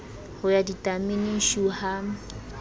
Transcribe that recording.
ho ya ditameneng shu ha